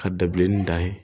Ka dabileni da yen